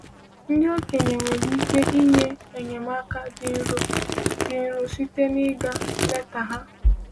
Ndị okenye nwere ike inye enyemaka dị nro dị nro site n’ịga leta ha.